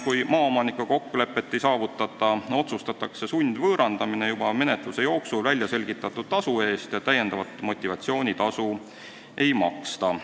Kui maaomanikega kokkulepet ei saavutata, otsustatakse sundvõõrandamine juba menetluse jooksul välja selgitatud tasu eest ja täiendavat motivatsioonitasu ei maksta.